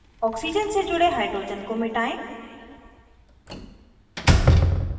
oxygen से जुड़े hydrogen को मिटायें